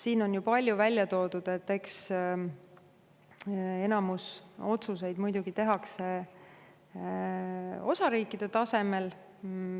Siin on ju palju räägitud sellest, et eks enamik otsuseid muidugi tehakse ära osariikide tasemel.